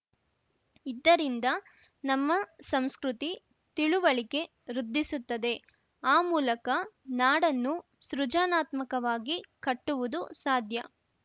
ಇದ್ದರಿಂದ ನಮ್ಮ ಸಂಸ್ಕೃತಿ ತಿಳುವಳಿಕೆ ವೃದ್ಧಿಸುತ್ತದೆ ಆ ಮೂಲಕ ನಾಡನ್ನು ಸೃಜನಾತ್ಮಕವಾಗಿ ಕಟ್ಟುವುದು ಸಾಧ್ಯ